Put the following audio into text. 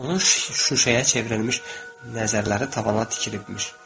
Onu şuşəyə çevrilmiş nəzərləri tavana tikilibmiş.